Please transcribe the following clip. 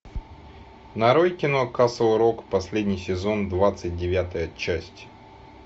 нарой кино касл рок последний сезон двадцать девятая часть